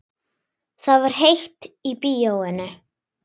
Það var heitt í bíóinu.